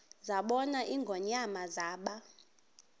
zabona ingonyama zaba